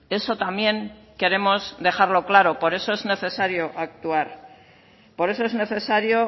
eso también queremos dejarlo claro por eso es necesario actuar por eso es necesario